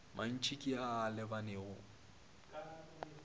mantši ke a a lebanego